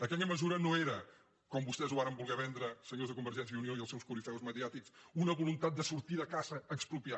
aquella mesura no era com vostès ho varen voler vendre senyors de convergència i unió i els seus corifeus mediàtics una voluntat de sortir de caça a expropiar